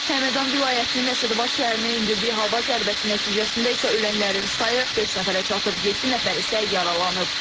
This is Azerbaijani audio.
Həmədan vilayətinin Əsədabad şəhərinə endirdiyi hava zərbəsi nəticəsində isə ölənlərin sayı beş nəfərə çatıb, yeddi nəfər isə yaralanıb.